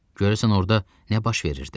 Görəsən orda nə baş verirdi?